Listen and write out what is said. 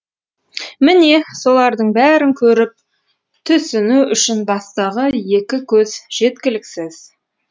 міне солардың бәрін көріп тұсіну үшін бастағы екі көз жеткіліксіз